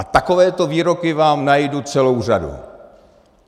A takovýchto výroků vám najdu celou řadu.